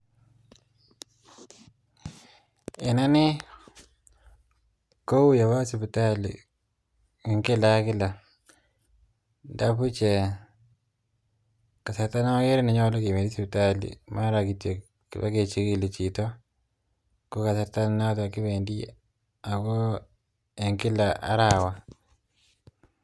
En ane koui awoo sipitali en kila ak kila, ndabuch ee kasarta neogere nenyolu kependi sipitali mara kityok kipokechigili chito ko kasarta noton kipendi ago en kila arawa